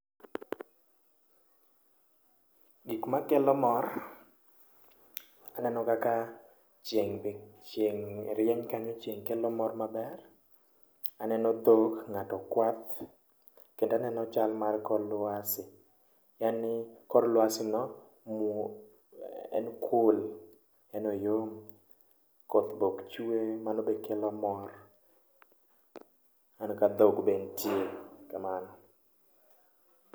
Gik makelo mor aneno kaka chieng' rieny chieng' kelo mor maber aneno dhok ng'ato kwath kendo aneno chal mar kor lwasi en ni kor lwasi no muo en cool yaani oyom koth mokk chwe mano be kelo mor aneno ka dhok ka dhok be ntie kamano.